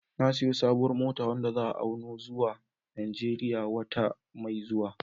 Na sayi sabuwar mota wadda za'a auno zuwa Najeriya wata mai zuwa